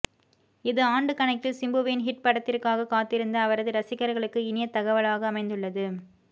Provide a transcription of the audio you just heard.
இது ஆண்டு கணக்கில் சிம்புவின் ஹிட் படதிற்காக காத்திருந்த அவரது ரசிகர்களுக்கு இனிய தகவலாக அமைந்துள்ளது